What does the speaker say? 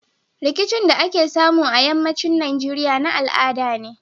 Rikicin da ake samu a yamma cin nigeria na al'ada ne